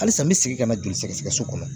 Halisa n bɛ segin ka na joli sɛgɛsɛgɛ so kɔnɔ